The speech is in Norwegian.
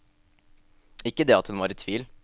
Ikke det at hun var i tvil.